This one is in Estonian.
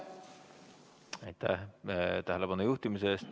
Aitäh tähelepanu juhtimise eest!